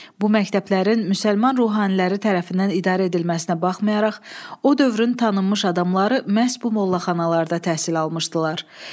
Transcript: Bu məktəblərin müsəlman ruhaniləri tərəfindən idarə edilməsinə baxmayaraq, o dövrün tanınmış adamları məhz bu mollaxanalarda təhsil almışdılar.